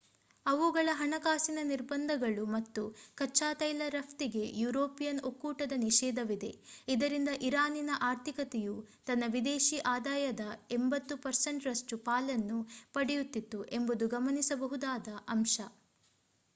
ಅವುಗಳ ಹಣಕಾಸಿನ ನಿರ್ಬಂಧಗಳು ಮತ್ತು ಕಚ್ಚಾ ತೈಲ ರಫ್ತಿಗೆ ಯುರೋಪಿಯನ್ ಒಕ್ಕೂಟದ ನಿಷೇಧವಿದೆ ಇದರಿಂದ ಇರಾನಿನ ಆರ್ಥಿಕತೆಯು ತನ್ನ ವಿದೇಶಿ ಆದಾಯದ 80% ರಷ್ಟು ಪಾಲನ್ನು ಪಡೆಯುತ್ತಿತ್ತು ಎಂಬುದು ಗಮನಿಸಬೇಕಾದ ಅಂಶ